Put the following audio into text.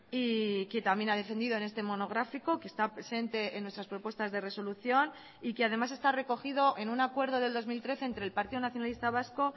y que también ha defendido en este monográfico que está presente en nuestras propuestas de resolución y que además está recogido en un acuerdo del dos mil trece entre el partido nacionalista vasco